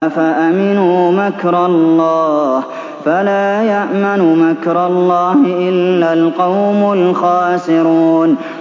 أَفَأَمِنُوا مَكْرَ اللَّهِ ۚ فَلَا يَأْمَنُ مَكْرَ اللَّهِ إِلَّا الْقَوْمُ الْخَاسِرُونَ